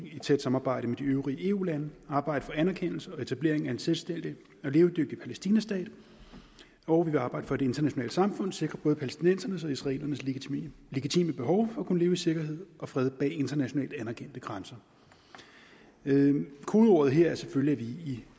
i tæt samarbejde med de øvrige eu lande vil arbejde for anerkendelse og etablering af en selvstændig og levedygtig palæstinastat og vi vil arbejde for at det internationale samfund sikrer både palæstinensernes og israelernes legitime behov for at kunne leve i sikkerhed og fred bag internationalt anerkendte grænser kodeordet her er selvfølgelig at vi i